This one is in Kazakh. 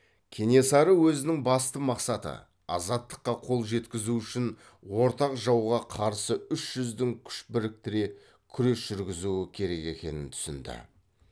кенесары өзінің басты мақсаты азаттыққа қол жеткізу үшін ортақ жауға қарсы үш жүздің күш біріктіре күрес жүргізуі керек екенін түсінді